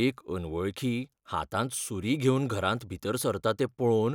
एक अनवळखी हातांत सूरी घेवन घरांत भितर सरता तें पळोवन